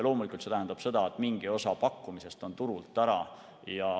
Loomulikult tähendab see seda, et mingi osa pakkumisest on turult ära.